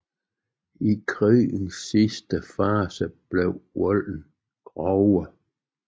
I krigens sidste fase blev volden grovere